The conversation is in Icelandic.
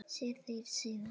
Sé þig síðar.